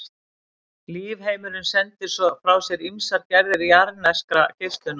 Lífheimurinn sendir svo frá sér ýmsar gerðir jarðneskrar geislunar.